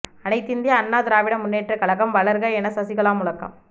அனைத்திந்திய அண்ணா திராவிட முன்னேற்ற கழகம் வளர்க என சசிகலா முழக்கம்